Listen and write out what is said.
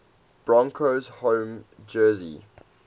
broncos home jersey